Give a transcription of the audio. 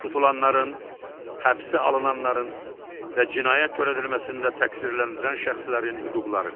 Tutulanların, həbsə alınanların və cinayət törədilməsində təqsirləndirilən şəxslərin hüquqları.